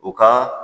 U ka